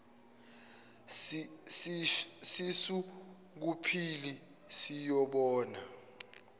sisu kubhili siyobona